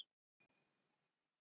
Björn: Hún Katla?